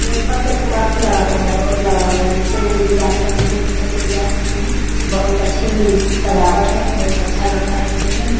ये ऊपर से अथी लगा हुआ है रोट लगा हुआ है। निचे नहीं भी जा सकते हैं ऊपर से भी जा सकते हैं। बहुत अच्छी ही सजावट है बहुत अच्छा लग रहा है देखने में।